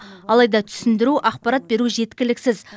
алайда түсіндіру ақпарат беру жеткіліксіз